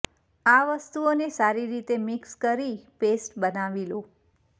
આ વસ્તુઓને સારી રીતે મિક્સ કરી પેસ્ટ બનાવી લો